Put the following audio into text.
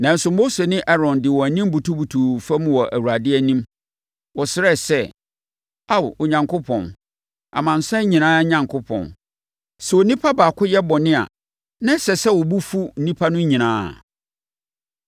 Nanso, Mose ne Aaron de wɔn anim butubutuu fam wɔ Awurade anim. Wɔsrɛɛ sɛ, “Ao, Onyankopɔn, amansan nyinaa Onyankopɔn, sɛ onipa baako yɛ bɔne a, na ɛsɛ sɛ wo bo fu nnipa no nyinaa?”